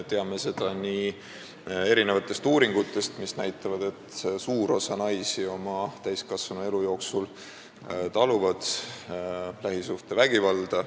Teame seda, sest uuringud näitavad, et suur osa naisi taluvad oma täiskasvanuelu jooksul kas füüsilist või vaimset lähisuhtevägivalda.